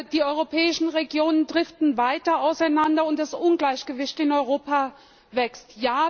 Die europäischen Regionen driften weiter auseinander, und das Ungleichgewicht in Europa wächst.